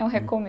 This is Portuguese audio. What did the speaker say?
É um